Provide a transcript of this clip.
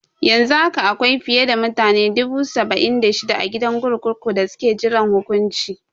Yanzu haka akwai fiye da mutane dubu saba'in da shida a gidan kurkuku da suke jiran hukunci.